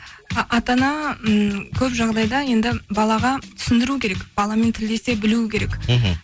ата ана ммм көп жағдайда енді балаға түсіндіру керек баламен тілдесе білуі керек мхм